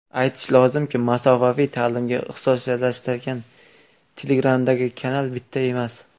Aytish lozimki, masofaviy ta’limga ixtisoslashgan Telegram’dagi kanal bitta emas.